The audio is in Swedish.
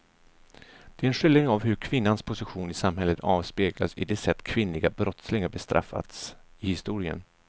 Den är en skildring av hur kvinnans position i samhället avspeglas i det sätt kvinnliga brottslingar bestraffats i historien.